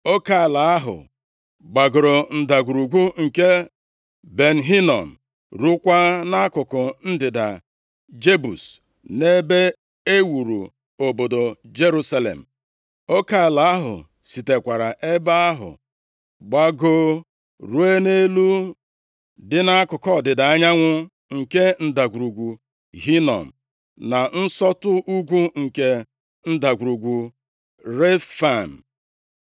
Oke ala ahụ gbagoro Ndagwurugwu nke Ben Hinom, rukwaa nʼakụkụ ndịda Jebus nʼebe e wuru obodo Jerusalem. Oke ala ahụ sitekwara ebe ahụ gbagoo ruo nʼelu dị nʼakụkụ ọdịda anyanwụ nke Ndagwurugwu Hinom, na nsọtụ ugwu nke Ndagwurugwu Refaim.